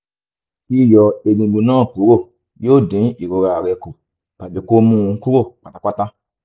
yíyọ egungun náà kúrò yóò dín ìrora rẹ kù tàbí kó mú un kúrò pátápátá